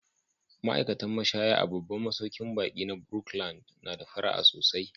Ma'aikatan mashaya a babban masaukin baƙi na Brookland na da fara'a sosai.